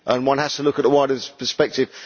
One has to look at the wider perspective.